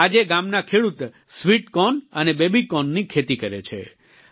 આજે ગામના ખેડૂત સ્વિટ કોર્ન અને બેબી કોર્નની ખેતી કરે છે